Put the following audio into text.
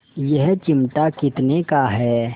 यह चिमटा कितने का है